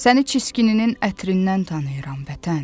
Səni çiskininin ətrindən tanıyıram vətən.